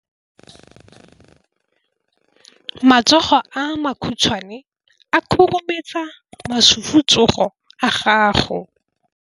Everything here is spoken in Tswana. Matsogo a makhutshwane a khurumetsa masufutsogo a gago.